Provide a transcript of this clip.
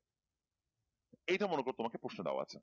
এইটা মনে করো তোমাকে প্রশ্ন দেওয়া আছে